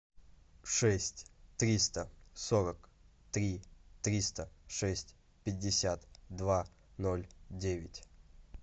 шесть триста сорок три триста шесть пятьдесят два ноль девять